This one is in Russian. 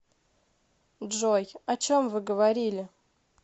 джой о чем вы говорили